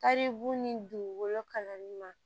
Taribu ni dugukolo kalanni ma